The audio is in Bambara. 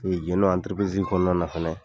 'o ye kɔnɔna na fana.